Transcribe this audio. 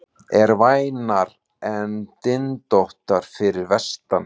Eru vænar en dyntóttar fyrir vestan